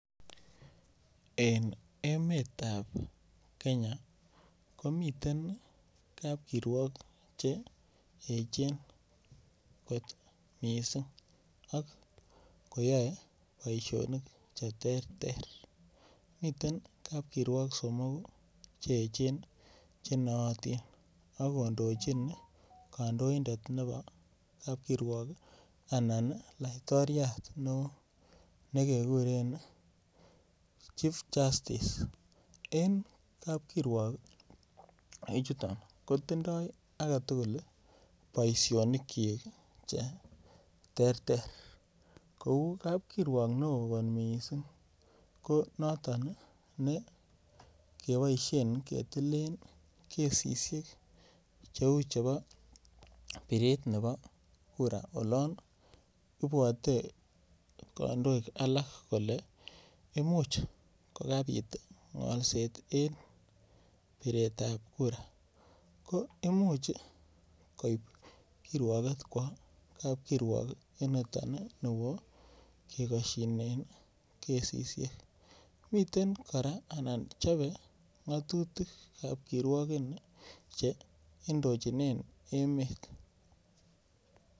Eng emet ap Kenya komiten kapkirwok cheechen kot mising ak koyoe boishonik che terter miten kapkirwok somoku che echen chenaatin akondochin kandoindet nepo kapkirwok anan laitoriat neo nekekuren chief justice en kapkirwok en chuto kotindoi aketukul boishonik chi che terter kou kapkirwok neo mising ko noton nekepoisien ketilen kesishek cheu chepo piret nepo kura olon ipuote kandoik alak kole imuch kokapit ngolset eng piret ap kura ko imuch koip kirwoket kwo kap kirwok en noto kekoshine kesishek mitten kora ana chope ngatutik ap kirwoket che indochine emet